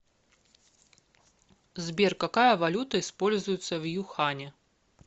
сбер какая валюта используется в юхане